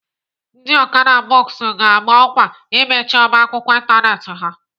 Ndị Okada books ga-ama ọkwa imechi ọba akwụkwọ ịntanetị ha.